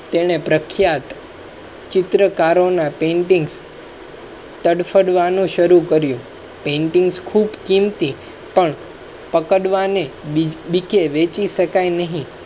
તેણે પ્રખ્યાત. ચિત્રકારો ના paintings તદ પડવા નો શરૂ કર્યો painting ખૂબ કીમતી પણ પકડવા ને બી કે વેચી શકાય નહીં.